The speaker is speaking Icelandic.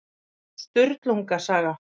Sturlunga saga.